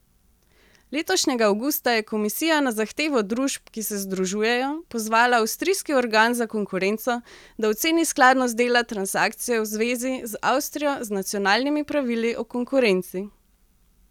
Letošnjega avgusta je komisija na zahtevo družb, ki se združujejo, pozvala avstrijski organ za konkurenco, da oceni skladnost dela transakcije v zvezi z Avstrijo z nacionalnimi pravili o konkurenci.